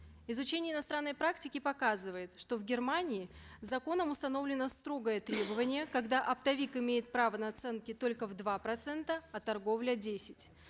изучение иностранной практики показывает что в германии законом установлено строгое требование когда оптовик имеет право наценки только в два процента а торговля десять